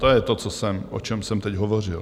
To je to, o čem jsem teď hovořil.